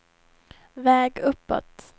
väg uppåt